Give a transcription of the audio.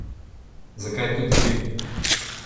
Zakaj tudi bi?